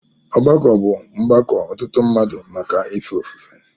Ọgbako bụ Mgbako ọtụtụ mmadụ màkà ife ofufe.